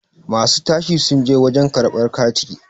masu tashi sun je wajen karabr kati